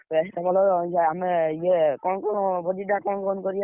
ଆମ ଇଏ କଣ ଭୋଜି ଟା କଣ କହନି କରିଆ?